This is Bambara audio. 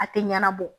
A tɛ ɲɛnabɔ